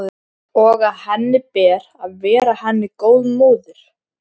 Og að henni ber að vera henni góð móðir.